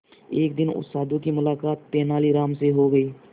एक दिन उस साधु की मुलाकात तेनालीराम से हो गई